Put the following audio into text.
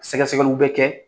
Sɛgɛsɛgɛliw bɛ kɛ